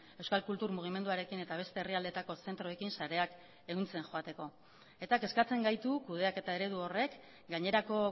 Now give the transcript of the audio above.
euskal kultur mugimenduarekin eta beste herrialdeetako zentroekin sareak ehuntzen joateko eta kezkatzen gaitu kudeaketa eredu horrek gainerako